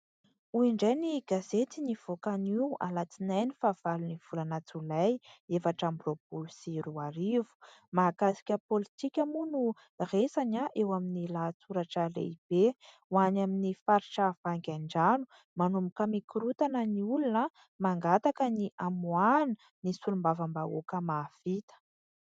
Hoy indray ny gazety nivoaka anio alatsinainy faha valon'ny volana jolay efatra amby roapolo sy roa arivo. Mahakasika politika moa no resany eo amin'ny lahatsoratra lehibe, ho any amin'ny faritra vangain-drano"manomboka mikorontana ny olona, mangataka ny hamoahana ny solombavam-bahoaka mahavita".